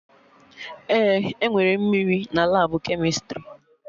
Ee, enwere mmiri na Labụ kemịstrị